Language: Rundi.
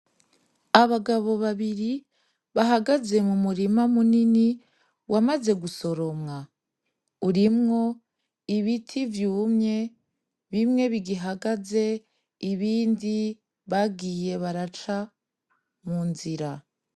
Abagabo babiri bahagaze mumurima munini wamaze gusoromwa urimo ibiti vyumye bimwe bigihagaze ibindi bagiye baraca munzira.